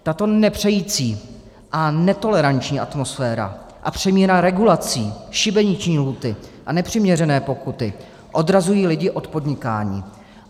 Tato nepřející a netoleranční atmosféra a přemíra regulací, šibeniční lhůty a nepřiměřené pokuty odrazují lidi od podnikání.